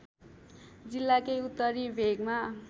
जिल्लाकै उत्तरी भेगमा